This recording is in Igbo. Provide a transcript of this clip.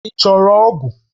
Ị chọrọ ogu?